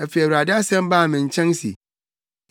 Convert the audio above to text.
Afei Awurade asɛm baa me nkyɛn se: